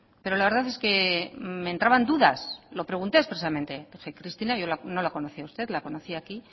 pero la verdad es que me entraban dudas lo pregunté expresamente dije cristina no la conocía a usted la conocí aquí